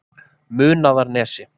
Munaðarnesi